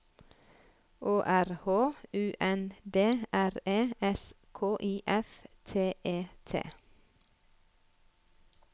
Å R H U N D R E S K I F T E T